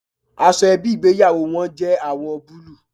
Aṣọ ẹbí ìgbéyàwó wọn jẹ́ àwọ̀ búlúù.